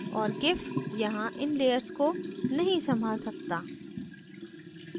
और gif यहाँ इन layers को नहीं संभाल सकता